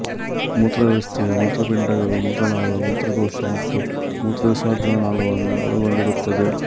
ಮೂತ್ರ ವ್ಯವಸ್ಥೆಯು ಮೂತ್ರಪಿಂಡಗಳು ಮೂತ್ರನಾಳ ಮೂತ್ರಕೋಶ ಮತ್ತು ಮೂತ್ರ ವಿಸರ್ಜನಾ ನಾಳವನ್ನು ಒಳಗೊಂಡಿರುತ್ತದೆ